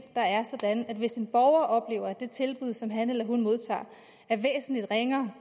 der er sådan at hvis en borger oplever at det tilbud som han eller hun modtager er væsentlig ringere